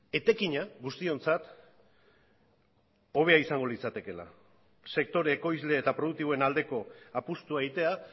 etekina guztiontzat hobea izango litzatekeela sektore ekoizle eta produktiboen aldeko apustua egitea